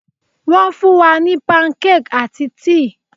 Wón fún wa ní pancake àti tíì